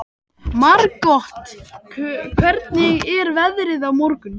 Margot, hvernig er veðrið á morgun?